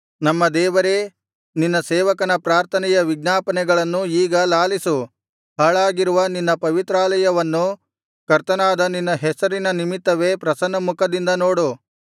ನಮ್ಮ ದೇವರೇ ನಿನ್ನ ಸೇವಕನ ಪ್ರಾರ್ಥನೆಯ ವಿಜ್ಞಾಪನೆಗಳನ್ನು ಈಗ ಲಾಲಿಸು ಹಾಳಾಗಿರುವ ನಿನ್ನ ಪವಿತ್ರಾಲಯವನ್ನು ಕರ್ತನಾದ ನಿನ್ನ ಹೆಸರಿನ ನಿಮಿತ್ತವೇ ಪ್ರಸನ್ನಮುಖದಿಂದ ನೋಡು